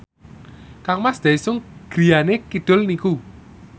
kangmas Daesung griyane kidul niku